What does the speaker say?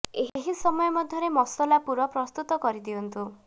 ଏହି ସମୟ ମଧ୍ୟରେ ମସଲା ପୁର ପ୍ରସ୍ତୁତ କରି ଦିଅନ୍ତୁ